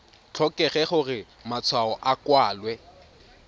tlhokege gore matshwao a kwalwe